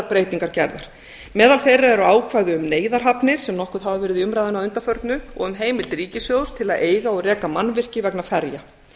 breytingar gerðar meðal þeirra eru ákvæði um neyðarhafnir sem nokkuð hafa verið í umræðunni að undanförnu og um heimild ríkissjóðs til að eiga og reka mannvirki vegna ferja